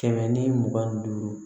Kɛmɛ ni mugan ni duuru